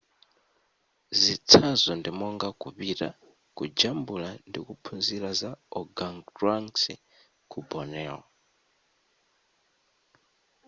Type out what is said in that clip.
zitsanzo ndi monga kupita kujambula ndikuphunzira za organgatuangs ku borneo